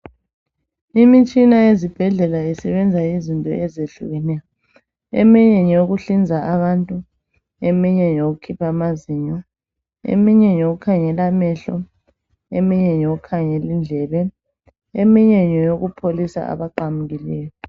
lmitshina yezibhedlela isebenza izinto ezehlukeneyo. Eminye ngeyokuhlinza abantu, eminye ngeyokukhipha amazinyo, eminye ngeyokukhangela amehlo, eminye ngeyokukhangela indlebe, eminye ngeyokupholisa abaqamukileyo.